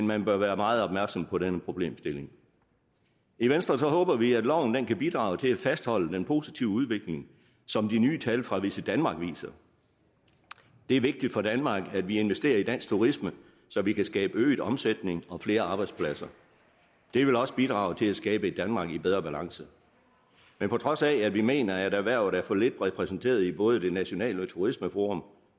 man bør være meget opmærksom på denne problemstilling i venstre håber vi at loven kan bidrage til at fastholde den positive udvikling som de nye tal fra visitdenmark viser det er vigtigt for danmark at vi investerer i dansk turisme så vi kan skabe øget omsætning og flere arbejdspladser det vil også bidrage til at skabe et danmark i bedre balance men på trods af at vi mener at erhvervet er for lidt repræsenteret i både det nationale turismeforum